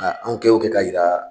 A an kɛ wo k'a yira.